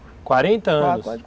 quarenta anos!